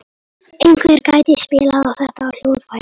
Einhver gæti spilað á þetta hljóðfæri.